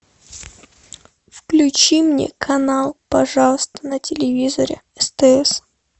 включи мне канал пожалуйста на телевизоре стс